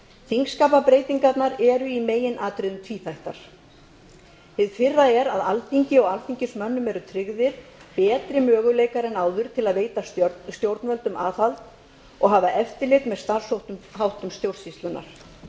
þingskapabreytingarnar eru í meginatriðum tvíþættar hið fyrra er að alþingi og alþingismönnum eru tryggðir betri möguleikar en áður til að veita stjórnvöldum aðhald og hafa eftirlit með starfsháttum stjórnsýslunnar